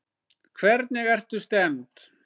Hvernig ertu stemmd?